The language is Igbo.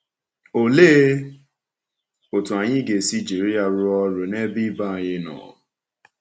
Ọ̀lee otú anyị ga-esi “jiri ya rụọ ọrụ n’ebe ibe anyị nọ”?